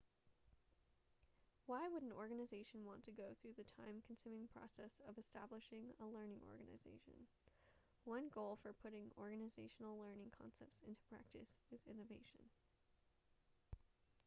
why would an organization want to go through the time consuming process of establishing a learning organization one goal for putting organizational learning concepts into practice is innovation